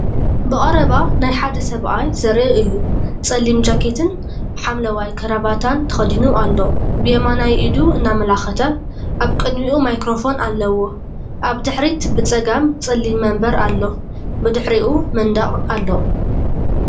ብቐረባ ናይ ሓደ ሰብኣይ ዘርኢ እዩ። ጸሊም ጃኬትን ሐምላይ ክራቫታን ተኸዲኑ ኣሎ። ብየማናይ ኢዱ እናኣመልከተ ኣብ ቅድሚኡ ማይክሮፎን ኣለዎ። ኣብ ድሕሪት ብጸጋም ጸሊም መንበር ኣሎ። ብድሕሪኡ መንደቕ ኣሎ።